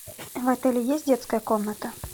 в отеле есть детская комната